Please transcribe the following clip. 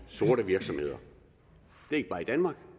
sorte virksomheder ikke bare i danmark